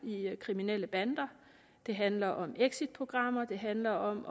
i kriminelle bander det handler om exitprogrammer det handler om